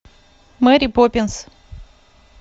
мэри поппинс